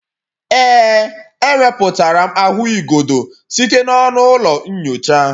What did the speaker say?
Ee, ewepụtara m ahụigodo site n'ọnụ ụlọ nyocha